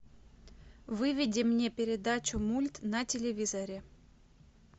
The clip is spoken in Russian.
выведи мне передачу мульт на телевизоре